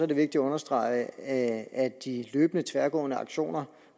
det vigtigt at understrege at at de løbende tværgående aktioner